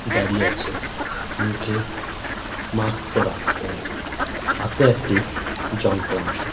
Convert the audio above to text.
দাঁড়িয়ে আছে মুখে মাস্ক পড়া। ও হাতে একটি যন্ত্রাংশ।